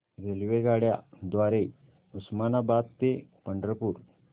रेल्वेगाड्यां द्वारे उस्मानाबाद ते पंढरपूर